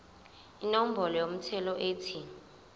inombolo yomthelo ethi